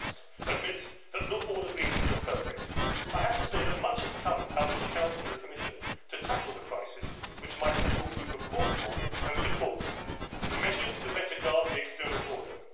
Tusk admits that not all agreements are perfect, I have to say that much has come out of the Council and the Commission to tackle the crisis which my political group has called for and supports measures to better guard the external border